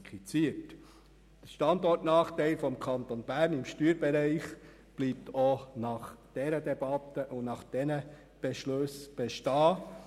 Der Standortnachteil des Kantons Bern im Steuerbereich bleibt auch nach dieser Debatte und auch nach diesen Beschlüssen bestehen.